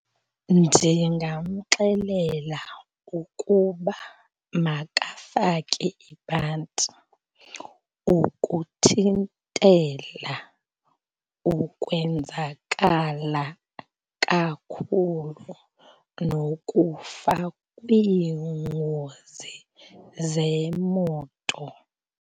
Ndingamxelela ukuba makafake ibhanti ukuthintela ukwenzakala kakhulu nokufa kwiingozi zemoto.